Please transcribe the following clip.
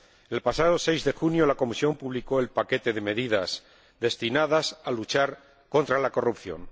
El pasado 6 de junio la Comisión publicó el paquete de medidas destinadas a luchar contra la corrupción.